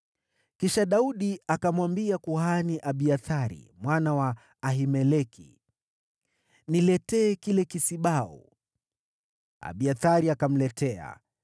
Kisha Daudi akamwambia kuhani Abiathari mwana wa Ahimeleki, “Niletee kisibau.” Abiathari akamletea,